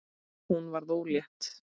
Hún varð ólétt.